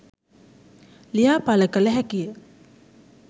ලියා පල කළ හැකි ය